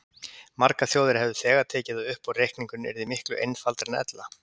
Margar þjóðir hefðu þegar tekið það upp og reikningurinn yrði miklu einfaldari en ella.